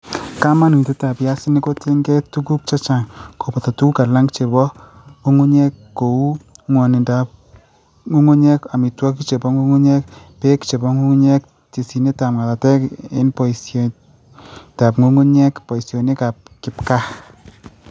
Kamanuutyetap piasinik kotiengei ak tuguuk chechang', kobooto tuguuk alak che po ng'ung'unyek, ko uu, ng'wonindo ap ng'ung'unyek, amitwogik che po ng'ung'unyek ,peek che po ng'ung'unyek, tesyinetap ng'atateek eng', poisyetap ng'ung'unyek; poisyonikap kipgaa